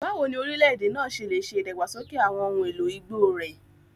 Báwo ni orílẹ̀-èdè náà ṣe lè ṣe ìdàgbàsókè àwọn ohun èlò igbó rẹ̀?